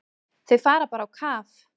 Þau fara bara á kaf.